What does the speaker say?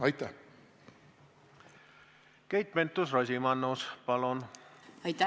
Keit Pentus-Rosimannus, palun!